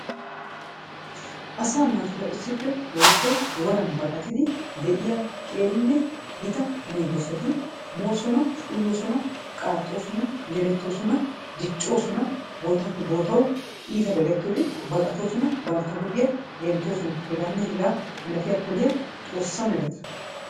Asaa naatuura issippe woykko woran baqatidi de'iya qeerinne gita moosona, uyoosona, qaaxxoosona, yelettoosona, diccoosona, bootaappe bootawu iitabay gakkiyode baqatoosona, bantta huuphiya genttoosona. Hegaanne hegaa malatiya poliya xoossa mereta.